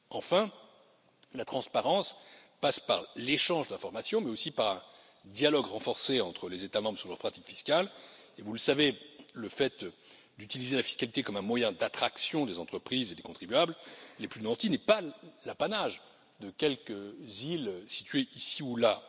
Enfin, la transparence passe par l'échange d'informations, mais aussi par un dialogue renforcé entre les États membres sur leurs pratiques fiscales et, vous le savez, le fait d'utiliser la fiscalité comme un moyen pour attirer les entreprises et les contribuables les plus nantis n'est pas l'apanage de quelques îles situées ici ou là.